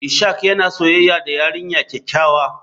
Ishak yana soyayya da yarinya kyakkyawa.